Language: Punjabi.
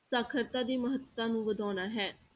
ਸਾਖ਼ਰਤਾ ਦੀ ਮਹੱਤਤਾ ਨੂੰ ਵਧਾਉਣਾ ਹੈ।